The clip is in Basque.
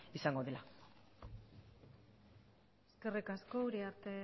izango dela eskerrik asko uriarte